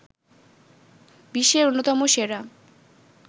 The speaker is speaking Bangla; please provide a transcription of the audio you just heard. বিশ্বের অন্যতম সেরা